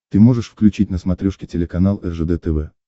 ты можешь включить на смотрешке телеканал ржд тв